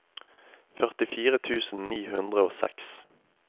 førtifire tusen ni hundre og seks